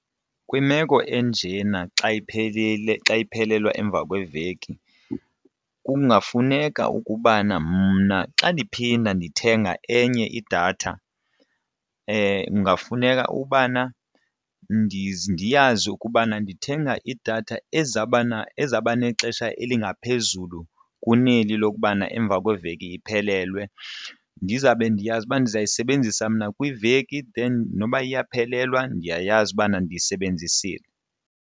Kwimeko enjena xa iphelile xa ephelelwa emva kweveki kungafuneka ukubana mna xa ndiphinda ndithenga enye idatha kungafuneka ubana ndiyazi ukubana ndithenga idatha ezawuba ezawuba nexesha elingaphezulu kuneli lokubana emva kweveki iphelelwe ndizawube ndiyazi uba ndizayisebenzisa mna kwiveki then noba iyaphelelwa ndiyayazi ukubana ndiyisebenzisile.